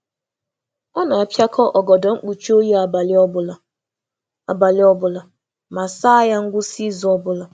Ọ na-akpọnye ákwà mkpuchi abalị kwa abalị ma na-asa ha kwa ngwụsị izu abụọ. um